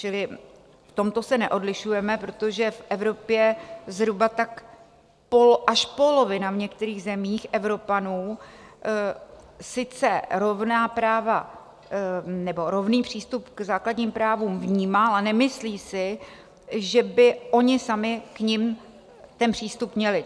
Čili v tomto se neodlišujeme, protože v Evropě zhruba tak až polovina - v některých zemích - Evropanů sice rovný přístup k základním právům vnímá, ale nemyslí si, že by oni sami k nim ten přístup měli.